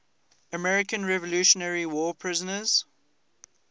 american revolutionary war prisoners